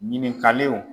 Ɲininkaliw